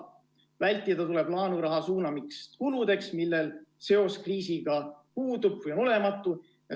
Vältida tuleb laenuraha suunamist kuludeks, millel seos kriisiga puudub või on olematu.